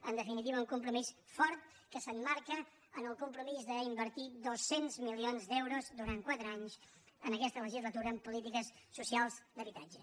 en definitiva un compromís fort que s’emmarca en el compromís d’invertir dos cents milions d’euros durant quatre anys en aquesta legislatura en polítiques socials d’habitatge